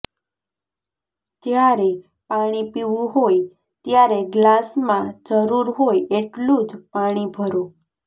જ્યારે પાણી પીવું હોય ત્યારે ગ્લાસમાં જરૂર હોય એટલું જ પાણી ભરો